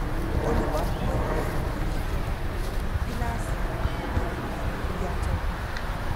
olùkó kan yí àlàyé ìjọba padà ní kíláàsì ní fífi yàtọ hàn